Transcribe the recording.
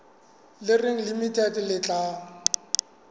le reng limited le tla